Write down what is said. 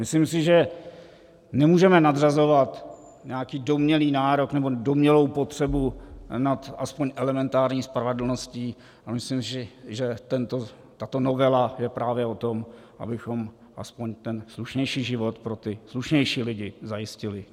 Myslím si, že nemůžeme nadřazovat nějaký domnělý nárok nebo domnělou potřebu nad alespoň elementární spravedlností, a myslím si, že tato novela je právě o tom, abychom aspoň ten slušnější život pro ty slušnější lidi zajistili.